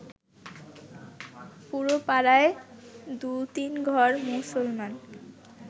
পুরো পাড়ায় দু’তিনঘর মুসলমান